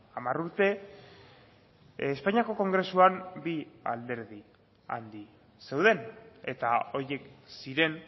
hamar urte espainiako kongresuan bi alderdi handi zeuden eta horiek ziren